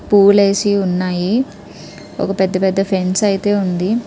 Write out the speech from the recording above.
పూలేసి ఉన్నాయి. ఒక పెద్ద పెద్ద ఫెన్స్ అయితే ఉంది.